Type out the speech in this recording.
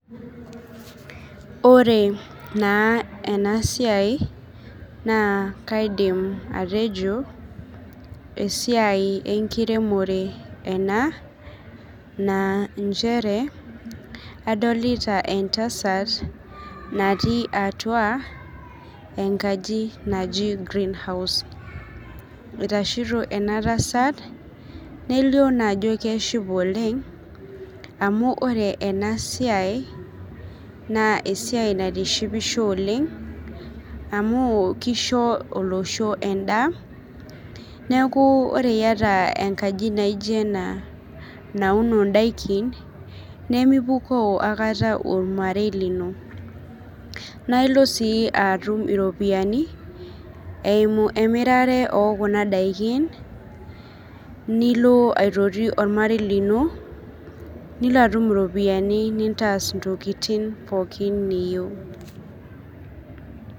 Ore naa ena siai naa kaidim atejo esiai enkiremore ena naa inchere, adolita entasat natii atua enkaji naji greenhouse. Itashito ena tasat nelio naa ajo keshipa oleng' amu ore ena siai naa esiai naitishipisho oleng' amu kisho olosho endaa. Neeku ore iyata enkaji naijo ena nauno ndaikin nemepukoo akata ormarei lino nae ilo sii atum iropiani eimu imirare oo kuna daikin nilo aitoti ormarei lino, nilo atum iropiani nintaas ntokitin pookin niyeu.